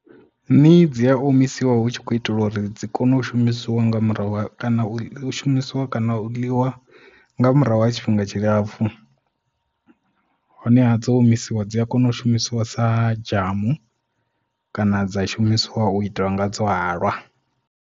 Nii dzi a omisiwa hu tshi kho itelwa uri dzi kone u shumisiwa nga murahu kana u shumisiwa kana u ḽiwa nga murahu ha tshifhinga tshilapfu hone ha dzo omisiwa dzi a kona u shumisiwa sa dzhamu kana dza shumiswa u itela nga dzo halwa.